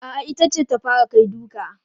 A'a, ita ce ta fara kai duka.